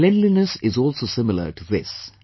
Cleanliness is also similar to this